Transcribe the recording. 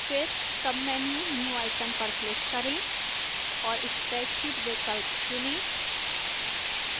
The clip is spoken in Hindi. फिर menu new पर click करें और spreadsheet विकल्प चुनें